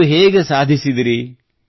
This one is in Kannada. ನೀವು ಹೇಗೆ ಸಾಧಿಸಿದಿರಿ